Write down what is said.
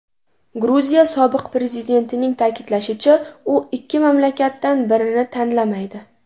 Gruziya sobiq prezidentining ta’kidlashicha, u ikki mamlakatdan birini tanlamaydi.